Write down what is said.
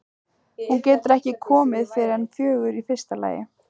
Hún getur ekki komið fyrr en fjögur í fyrsta lagi.